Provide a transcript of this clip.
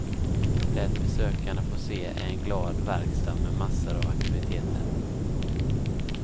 Det besökarna får se är en glad verkstad med massor av aktiviteter.